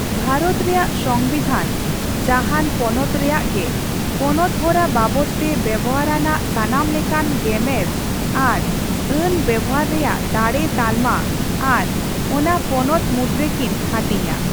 ᱵᱷᱟᱨᱚᱛ ᱨᱮᱭᱟᱜ ᱥᱚᱝᱵᱤᱫᱷᱟᱱ ᱡᱟᱦᱟᱱ ᱯᱚᱱᱚᱛ ᱨᱮᱭᱟᱜ ᱜᱮ ᱯᱚᱱᱚᱛᱦᱚᱨᱟ ᱵᱟᱵᱚᱛᱼᱛᱮ ᱵᱮᱣᱦᱟᱨᱟᱱᱟᱜ ᱥᱟᱱᱟᱢᱞᱮᱠᱟᱱ ᱜᱮᱢᱮᱨ ᱟᱨ ᱟᱹᱱ ᱵᱮᱣᱦᱟᱨ ᱨᱮᱭᱟᱜ ᱫᱟᱲᱮ ᱛᱟᱞᱢᱟ ᱟᱨ ᱚᱱᱟ ᱯᱚᱱᱚᱛ ᱢᱩᱫᱨᱮᱠᱤᱱ ᱦᱟᱹᱴᱤᱧᱟ ᱾